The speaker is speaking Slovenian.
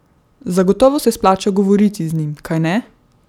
Zagotovo se splača govoriti z njim, kajne?